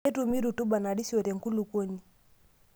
Ketumi rutuba narisio tenkulukuoni.